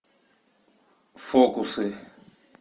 фокусы